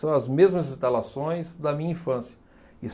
São as mesmas instalações da minha infância.